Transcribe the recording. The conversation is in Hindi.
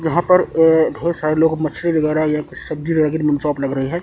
यहां पर ये ढेर सारे लोग मछली वगैरह या सब्जी वगैरह की शॉप लग रही है।